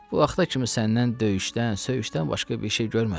Bu vaxta kimi səndən döyüşdən, söyüşdən başqa bir şey görmədim.